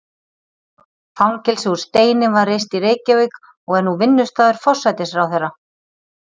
Fangelsi úr steini var reist í Reykjavík og er nú vinnustaður forsætisráðherra.